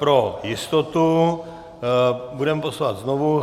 Pro jistotu budeme postupovat znovu.